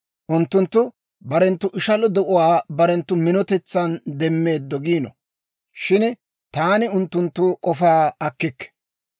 Unttunttu barenttu ishalo de'uwaa barenttu minotetsan demmeeddo giino; shin taani unttunttu k'ofaa akkikke.